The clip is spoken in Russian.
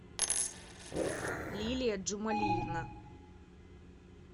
лилия джумалиевна